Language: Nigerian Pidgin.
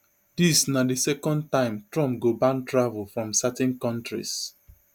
dis na di second time trump go ban travel from certain kontris